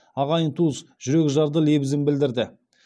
ағайын туыс жүрекжарды лебізін білдірді